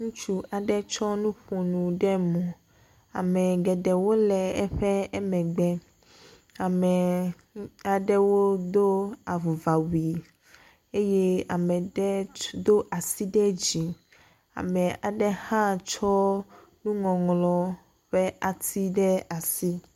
Ŋutsu aɖe tsɔ nuƒonu ɖe mo. Ame geɖewo le eƒe emegbe. Ame aɖewo do avuva wui eye ame ɖe ts do asi ɖe dzi ame aɖe hã tsɔ nuŋɔŋlɔ ƒe ati ɖe asi.